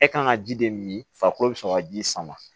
E kan ka ji de min farikolo bɛ sɔrɔ ka ji sama